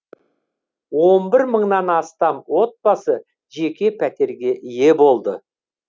он бір мыңнан астам отбасы жеке пәтерге ие болды